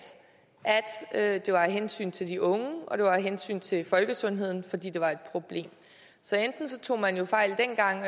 at det var af hensyn til de unge og at det var af hensyn til folkesundheden fordi det var et problem så enten tog man fejl dengang